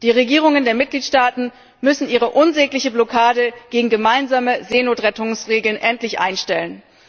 Die Regierungen der Mitgliedstaaten müssen ihre unsägliche Blockade gegen gemeinsame Seenotrettungsregeln endlich einstellen.